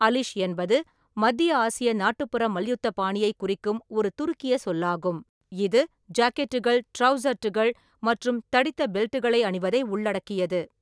அலிஷ் என்பது மத்திய ஆசிய நாட்டுப்புற மல்யுத்த பாணியைக் குறிக்கும் ஒரு துருக்கிய சொல்லாகும், இது ஜாக்கெட்டுகள், ட்ராவுசர்ட்டுகள் மற்றும் தடித்த பெல்ட்டுகளை அணிவதை உள்ளடக்கியது.